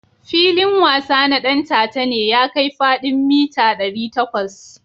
Filin wasa na Ɗantata ne ya kai fadin mita dari takwas.